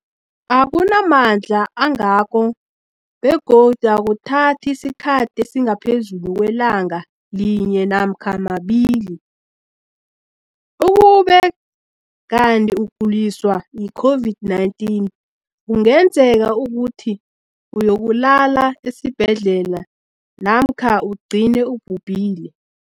akuna mandla angako begodu akuthathi isikhathi esingaphezulu kwelanga linye namkha mabili, ukube kanti ukuguliswa yi-COVID-19 kungenza ukuthi uyokulala esibhedlela namkha ugcine ubhubhile.